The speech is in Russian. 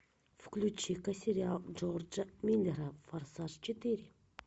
включи ка сериал джорджа миллера форсаж четыре